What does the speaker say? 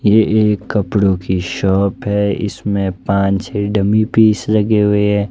ये एक कपड़ो की शॉप है इसमें पांच छह डम्मी पीस लगे हुए है।